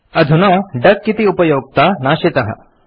अधुना डक इति उपयोक्ता नाशितः